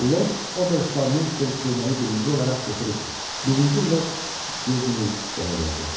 Lord Oberştalmeister köynəyi birinci olaraq götürüb, birinci Lord Yeğmeisterə verdi.